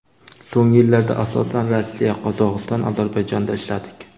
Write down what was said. So‘nggi yillarda, asosan, Rossiya, Qozog‘iston, Ozarbayjonda ishladik.